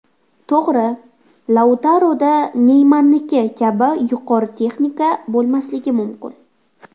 To‘g‘ri, Lautaroda Neymarniki kabi yuqori texnika bo‘lmasligi mumkin.